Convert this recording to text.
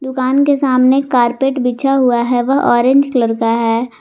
दुकान के सामने कारपेट बिछा हुआ है वह ऑरेंज कलर का है।